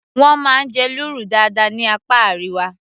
wọ́n máa ń jẹ lúrú dáadáa ní apá Àríwá